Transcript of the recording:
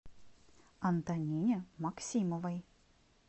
антонине максимовой